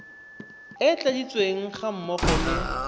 e tladitsweng ga mmogo le